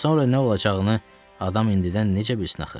Sonra nə olacağını adam indidən necə bilsin axı?